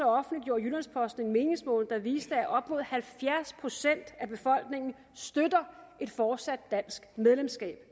offentliggjorde jyllands posten en meningsmåling der viste at op mod halvfjerds procent af befolkningen støtter et fortsat dansk medlemskab